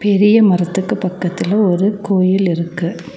பெரிய மரத்துக்கு பக்கத்துல ஒரு கோயில் இருக்கு.